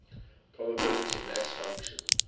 probability mass function